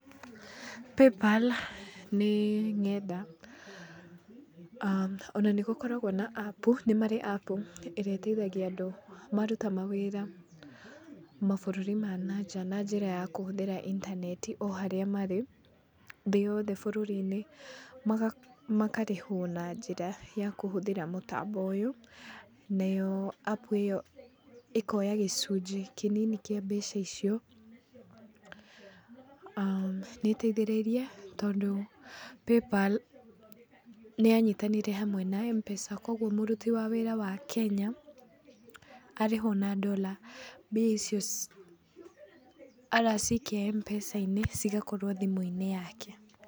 Paypal nĩ ng'enda ona nĩgũkoragwo na apu, nĩmarĩ apu ĩrĩa ĩteithagia andũ maruta mawĩra mabũrũri-inĩ ma nanja na njĩra ya kũhũthĩra intaneti o harĩa marĩ thĩ yothe bũrũri-inĩ, makarĩhwo na njĩra ya kũhũthĩra mũtambo ũyũ. Nayo apu ĩyo ĩkoya gĩcunjĩ kĩnini kĩa mbeca icio. Nĩĩteithĩrĩirie tondũ paypal nĩyanyitanire hamwe na M-pesa koguo mũruti wĩra wa Kenya arĩhwo na dora mbia icio aracikia m-pesa-inĩ cigakorwo thimũ-inĩ yake.